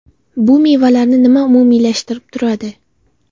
Bu mevalarni nima umumiylashtirib turadi?